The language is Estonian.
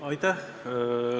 Aitäh!